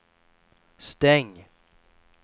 stäng